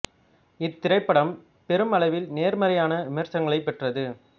இத் திரைப்படம் பெரும் அளவில் நேர் மறையான விமர்சனங்களைப் பெற்றது